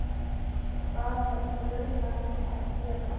hvað með brunann að gera.